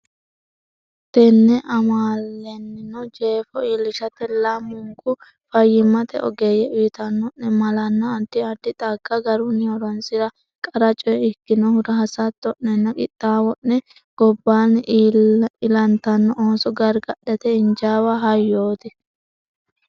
Tenne amaale’neno jeefo iillishate lamunku fayyimmate ogeeyye uyitanno’ne malanna addi addi xagga garunni horonsi’ra qara coye ikkinohura hasatto’nenna qixxaawo’ne gobbaanni ilantanno ooso gargadhate injaawa hayyooti.